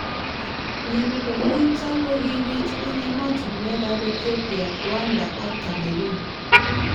MNnyeni bo muito kokibit eng emotunwek ab Ethipia, Rwanda ak Cameroon.